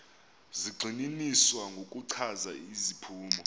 zigxininiswa ngokuchaza iziphumo